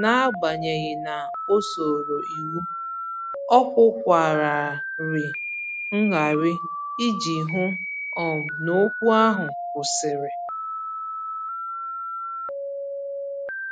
N'agbanyeghị na o soro iwu, ọ kwụkwararị ngarị iji hụ um n'okwu ahụ kwụsịrị